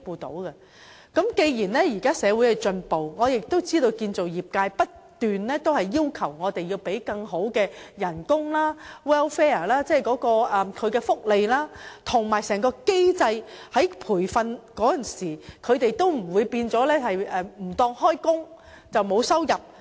不過，現今社會進步，建造業界亦不斷要求有更好的工資、福利、制度，使他們在接受培訓時不會因被視作沒有上班而沒有收入。